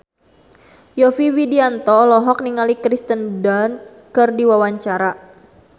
Yovie Widianto olohok ningali Kirsten Dunst keur diwawancara